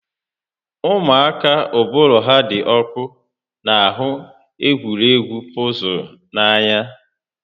Ụmụaka uụbụrụ ha dị ọkụ n'ahụ egwuregwu pọzụl n'anya